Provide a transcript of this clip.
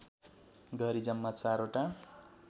गरी जम्मा चारवटा